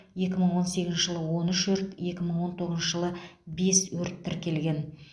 екі мың он сегізінші жылы он үш өрт екі мың он тоғызыншы жылы бес өрт тіркелген